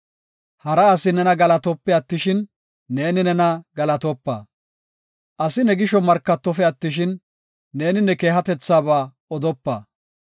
Hara asi nena galatope attishin neeni nena galatopa; asi ne gisho markatofe attishin, neeni ne keehatethabaa odopa.